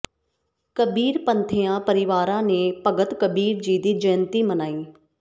ਕਬੀਰਪੰਥੀਆਂ ਪਰਿਵਾਰਾਂ ਨੇ ਭਗਤ ਕਬੀਰ ਜੀ ਦੀ ਜੈਯੰਤੀ ਮਨਾਈ